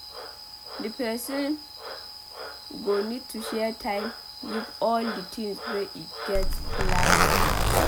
Di person go need to share time give all di tins wey e get plans to do